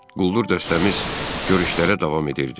Quldur dəstəmiz görüşlərə davam edirdi.